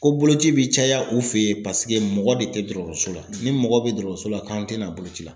Ko boloci bi caya u fɛ yen paseke mɔgɔ de tɛ dɔgɔtɔrɔso la ni mɔgɔ bɛ dɔgɔtɔrɔso la k'an tɛ na boloci la.